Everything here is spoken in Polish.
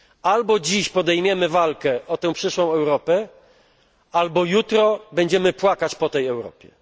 Albo dziś podejmiemy walkę o tę przyszłą Europę, albo jutro będziemy płakać po tej Europie.